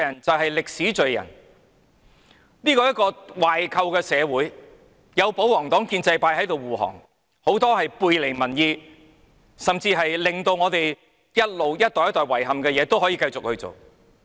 這是一個壞透的社會，有保皇黨和建制派護航，很多背離民意，甚至是令一代又一代人遺憾的事情也可以繼續做。